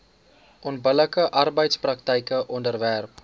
onbillike arbeidspraktyke onderwerp